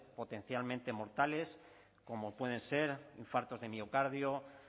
potencialmente mortales como pueden ser infartos de miocardio